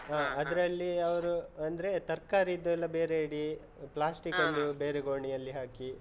ಅದ್ರಲ್ಲಿ ಅವ್ರು, ಅಂದ್ರೆ ತರ್ಕಾರಿದು ಎಲ್ಲ ಬೇರೆ ಇಡಿ, plastic ಅನ್ನು ಬೇರೆ ಗೋಣಿ ಅಲ್ಲಿ ಹಾಕಿ.